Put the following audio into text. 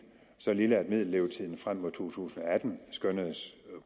så lille at middellevetiden frem mod to tusind og atten skønnedes